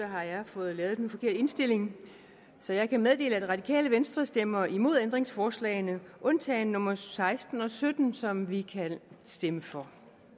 har jeg fået lavet den forkerte indstilling så jeg kan meddele at det radikale venstre stemmer imod ændringsforslagene undtagen nummer seksten og sytten som vi kan stemme for